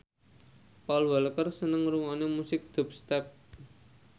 Paul Walker seneng ngrungokne musik dubstep